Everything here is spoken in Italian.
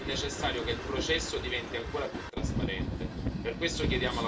Da ultimo, è necessario che il processo diventi ancora più trasparente.